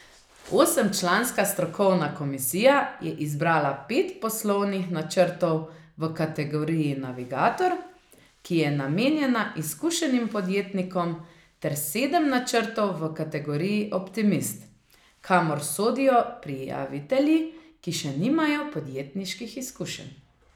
Osemčlanska strokovna komisija je izbrala pet poslovnih načrtov v kategoriji Navigator, ki je namenjena izkušenim podjetnikom, ter sedem načrtov v kategoriji Optimist, kamor sodijo prijavitelji, ki še nimajo podjetniških izkušenj.